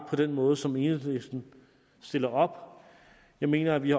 den måde som enhedslisten stiller op jeg mener at vi